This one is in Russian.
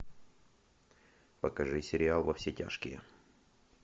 покажи сериал во все тяжкие